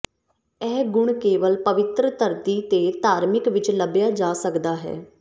ਇਹ ਗੁਣ ਕੇਵਲ ਪਵਿੱਤਰ ਧਰਤੀ ਤੇ ਧਾਰਮਿਕ ਵਿੱਚ ਲੱਭਿਆ ਜਾ ਸਕਦਾ ਹੈ